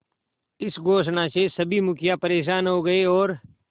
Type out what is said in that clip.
इस घोषणा से सभी मुखिया परेशान हो गए और